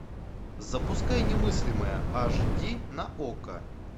запускай немыслимое аш ди на окко